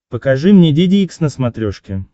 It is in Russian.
покажи мне деде икс на смотрешке